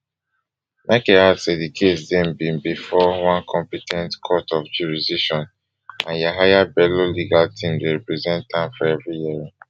michael add say di case dey been bifor one compe ten t court of jurisdiction and yahaya bello legal team dey represent am for every hearing